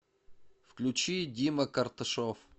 включи дима карташов